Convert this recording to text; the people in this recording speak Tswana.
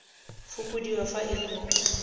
fokodiwa fa e le mo